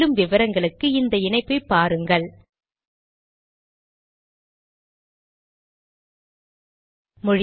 மேற்கொண்டு விவரங்களுக்கு இந்த இணைப்பை பாருங்கள் httpspoken tutorialorgNMEICT Intro